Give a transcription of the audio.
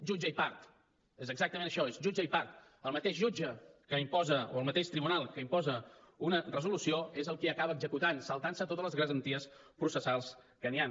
jutge i part és exactament això és jutge i part el mateix jutge o el mateix tribunal que imposa una resolució és el qui acaba executant saltant se totes les garanties processals que hi han